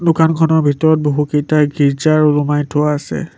দোকানখনৰ ভিতৰত বহুকেইটা গীৰ্জাৰ ওলোমাই থোৱা আছে।